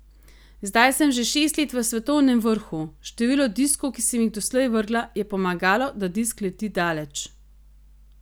Zdaj sem že šest let v svetovnem vrhu, število diskov, ki sem jih doslej vrgla, je pomagalo, da disk leti daleč.